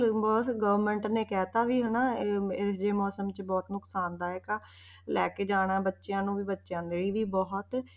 Government ਨੇ ਕਹਿ ਦਿੱਤਾ ਵੀ ਹਨਾ ਇਹ ਇਹ ਜਿਹੇ ਮੌਸਮ 'ਚ ਬਹੁਤ ਨੁਕਸਾਨਦਾਇਕ ਆ ਲੈ ਕੇ ਜਾਣਾ ਬੱਚਿਆਂ ਨੂੰ ਵੀ ਬੱਚਿਆਂ ਲਈ ਵੀ ਬਹੁਤ,